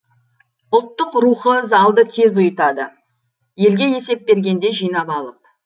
ұлттық рухы залды тез ұйытады елге есеп бергенде жинап алып